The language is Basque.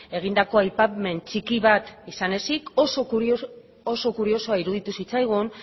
egindako aipamen txiki bat izan ezik oso kuriosoa iruditu zitzaigun